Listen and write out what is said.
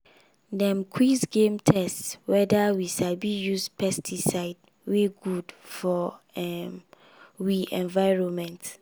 dem quiz game test whether we sabi use pesticide wey good for um wi environment.